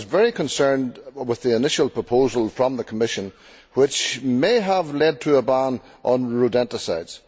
I was very concerned with the initial proposal from the Commission, which may have led to a ban on rodenticides.